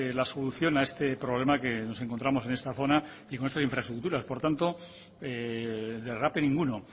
la solución a este problema que nos encontramos en esta zona y con estas infraestructuras por tanto derrape ninguno